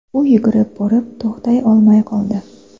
U yugurib borib, to‘xtay olmay qoldi.